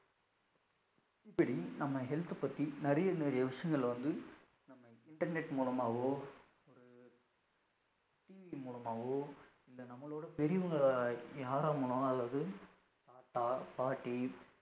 இப்படி நம்ம health பத்தி நிறைய நிறைய விஷயங்கள் வந்து நம்ம internet மூலமாகவோ ஒரு TV மூலமாகவோ இல்ல நம்மளோட பெரியவங்க யாராவது மூலமாகவோ அதாவது தாத்தா, பாட்டி,